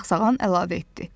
deyə Sağsağan əlavə etdi.